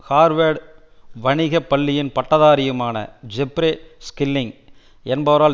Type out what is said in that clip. Harvard வணிக பள்ளியின் பட்டதாரியுமான ஜெப்ரே ஸ்கில்லிங்க் என்பவரால்